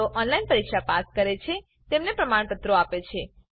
જેઓ ઓનલાઈન પરીક્ષા પાસ કરે છે તેમને પ્રમાણપત્રો આપે છે